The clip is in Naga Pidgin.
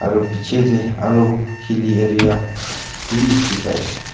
aru picche teh aru hilly area be dikhi pai ase.